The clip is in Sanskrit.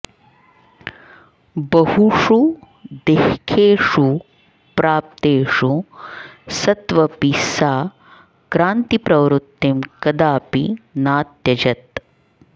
बहुषु देःखेषु प्राप्तेषु सत्वपि सा क्रान्तिप्रवृत्तिं कदापि नात्यजत्